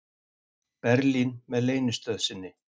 Berlín með leynistöð sinni.